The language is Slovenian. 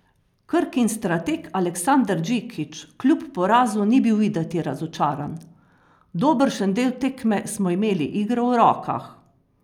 Krkin strateg Aleksandar Džikić kljub porazu ni bil videti razočaran: "Dobršen del tekme smo imeli igro v rokah.